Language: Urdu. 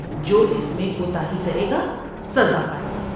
جو اس میں کوتاہی کرے گا سزا پائے گا ۔